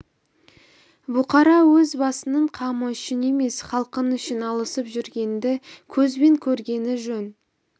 бұқара өз басыңның қамы үшін емес халқың үшін алысып жүргеніңді көзбен көргені жөн